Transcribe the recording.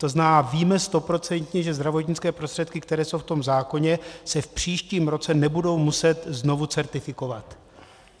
To znamená, víme stoprocentně, že zdravotnické prostředky, které jsou v tom zákoně, se v příštím roce nebudou muset znovu certifikovat?